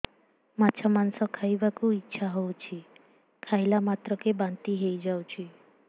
ମାଛ ମାଂସ ଖାଇ ବାକୁ ଇଚ୍ଛା ହଉଛି ଖାଇଲା ମାତ୍ରକେ ବାନ୍ତି ହେଇଯାଉଛି